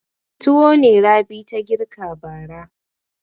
Tuwo ne Rabi ta girka bara.